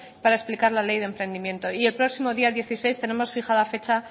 para explicar la ley de emprendimiento y el próximo día dieciséis tenemos fijada fecha